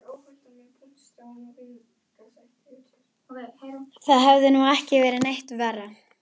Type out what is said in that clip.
Það hefði nú ekki verið neitt verra.